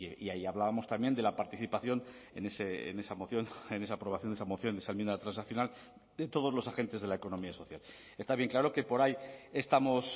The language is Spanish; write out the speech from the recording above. y ahí hablábamos también de la participación en esa moción en esa aprobación de esa moción de esa enmienda transaccional de todos los agentes de la economía social está bien claro que por ahí estamos